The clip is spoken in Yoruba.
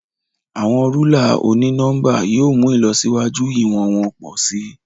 Awọn rúlà oni-nọmba yóò mú ìlọsíwájú iwọnwọn pọ si.